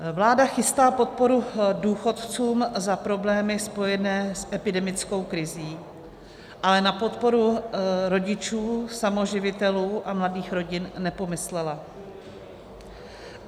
Vláda chystá podporu důchodcům za problémy spojené s epidemickou krizí, ale na podporu rodičů samoživitelů a mladých rodin nepomyslela.